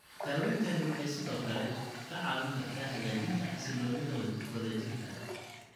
Daaweyntani waxay sidoo kale kaa caawin kartaa hagaajinta xasilloonida wadajirka.